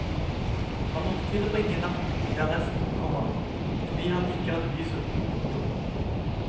Han måtte tilbringe natten i arresten, komma fordi han ikke hadde visum. punktum